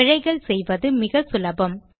பிழைகள் செய்வது மிக சுலபம்